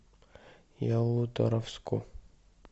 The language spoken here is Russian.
ялуторовску